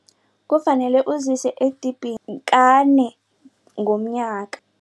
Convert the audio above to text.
Kufanele uzise edibhini kane ngomnyaka.